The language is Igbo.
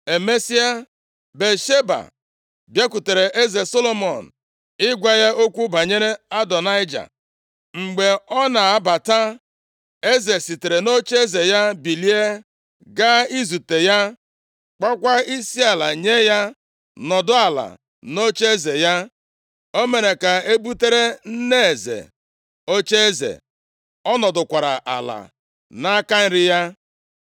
Emesịa, Batsheba bịakwutere eze Solomọn ịgwa ya okwu banyere Adonaịja. Mgbe ọ na-abata, eze sitere nʼocheeze ya bilie gaa izute ya, kpọkwaa isiala nye ya nọdụ ala nʼocheeze ya. O mere ka e butere nne eze + 2:19 Nʼụlọeze mba ndị dị nʼọwụwa anyanwụ, nne eze bụ onye a na-asọpụrụ. A na-enyekwa ya ọrụ ụfọdụ ka ọ rụọ, i ji kwanyere ya ugwu. ocheeze, ọ nọdụkwara ala nʼaka nri ya.